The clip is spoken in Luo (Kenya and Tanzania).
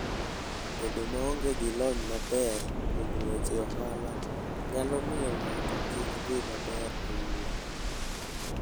Bedo maonge gi lony maber kuom weche ohala, nyalo miyo ng'ato kik dhi maber e wuoth.